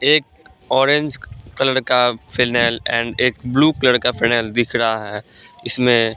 एक orange colour का phenyl and एक ब्लू कलर का फिनेल दिख रहा है इसमें --